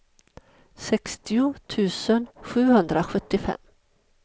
sextio tusen sjuhundrasjuttiofem